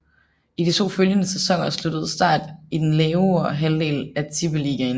I de to følgende sæsoner sluttede start i den lavere halvdel af Tippeligaen